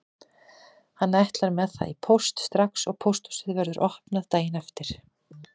Hann ætlar með það í póst strax og pósthúsið verður opnað daginn eftir.